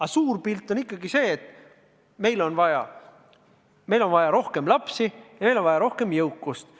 Aga suur pilt on ikkagi see, et meil on vaja rohkem lapsi, meil on vaja rohkem jõukust.